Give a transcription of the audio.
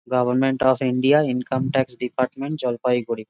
Government of India income tax department Jalpaiguri.